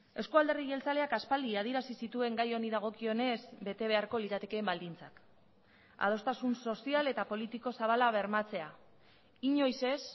eusko alderdi jeltzaleak aspaldi adierazi zituen gai honi dagokionez bete beharko liratekeen baldintzak adostasun sozial eta politiko zabala bermatzea inoiz ez